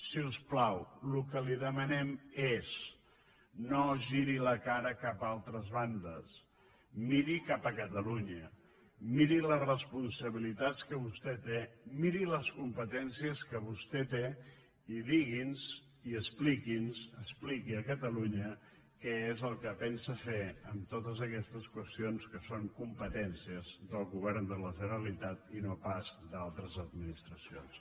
si us plau el que li demanem és no giri la cara cap a altres bandes miri cap a catalunya miri les responsabilitats que vostè té miri les competències que vostè té i digui’ns i expliqui’ns expliqui a catalunya què és el que pensa fer amb totes aquestes qüestions que són competències del govern de la generalitat i no pas d’altres administracions